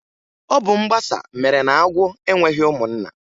Ọ bụ mgbasa mere na agwọ enweghị ụmụnna.